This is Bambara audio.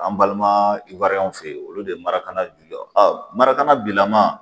An balima fɛ yen olu de ye marakana marakana bilama